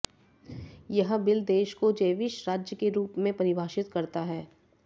यह बिल देश को जेविश राज्य के रुप में परिभाषित करता है